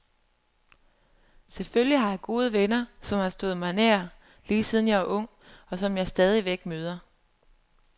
Selvfølgelig har jeg gode venner, som har stået mig nær, lige siden jeg var ung, og som jeg stadigvæk møder.